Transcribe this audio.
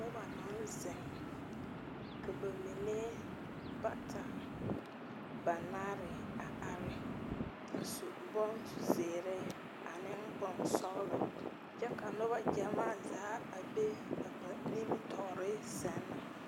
Noba naŋ zeŋ ka ba mine bata banaare a are a su bon zeɛre ane bonsɔglaa kyɛ ka nober